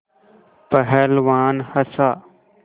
पहलवान हँसा